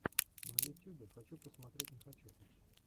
на ютюбе хочу посмотреть нехочуху